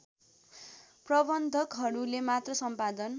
प्रबन्धकहरूले मात्र सम्पादन